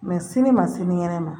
Mɛ sini ma sinikɛnɛ ma